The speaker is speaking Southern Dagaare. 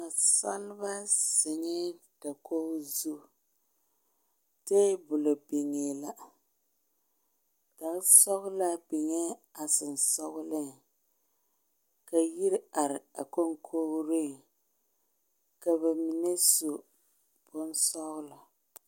Nasaalba zeŋɛ. dakogi zu, tabolɔ biŋɛ la gan sɔglaa biŋɛ a sensɔleŋ ,ka Yiri are a konkorieŋ ka ba mine su bon sɔglɔ.